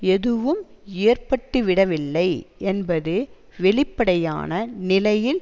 எதுவும் ஏற்பட்டு விட வில்லை என்பது வெளிப்படையான நிலையில்